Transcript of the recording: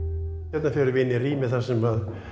hérna förum við inn í rými þar sem